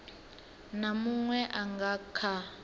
na muṅwe a nga kha